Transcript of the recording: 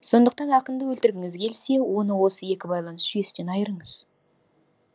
сондықтан ақынды өлтіргіңіз келсе оны осы екі байланыс жүйесінен айырыңыз